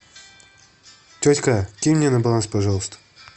тетька кинь мне на баланс пожалуйста